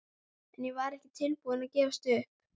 En ég var ekki tilbúin að gefast upp.